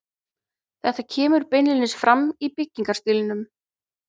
Þetta kemur beinlínis fram í byggingarstílnum.